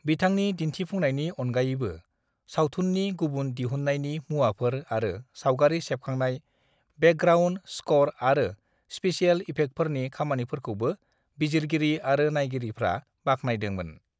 "बिथांनि दिन्थिफुंनायनि अनगायैबो, सावथुननि गुबुन दिहुन्नायनि मुवाफोर आरो सावगारि सेबखांनाय, बेकग्राउन्द स्कर आरो स्पेसियेल इफेक्टफोरनि खामानिफोरखौबो बिजिरगिरि आरो नायगिरिफ्रा बाखनायदोंमोन।"